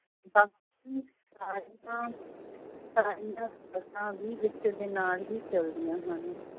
ਬਾਕੀ ਸਾਰੀਆਂ ਵੀ ਇਸਦੇ ਨਾਲ ਹੀ ਚੱਲਦੀਆਂ ਹਨ।